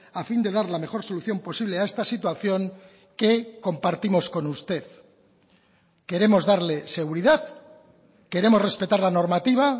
a fin de dar la mejor solución posible a esta situación que compartimos con usted queremos darle seguridad queremos respetar la normativa